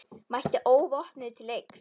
Mætti óvopnuð til leiks.